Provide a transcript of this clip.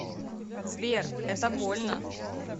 сбер это больно